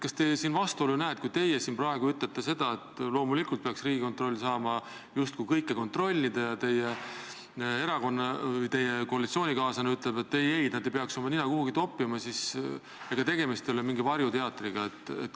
Kas te siin vastuolu ei näe, kui teie siin praegu ütlete, et loomulikult peaks Riigikontroll saama justkui kõike kontrollida, aga teie koalitsioonikaaslane ütleb, et ei-ei, nad ei peaks oma nina kuhugi toppima, et ega tegemist ei ole mingi varjuteatriga?